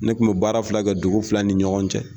Ne tun bɛ baara fila kɛ dugu fila ni ɲɔgɔn cɛ.